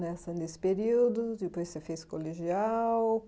Nessa nesse período, depois você fez colegial.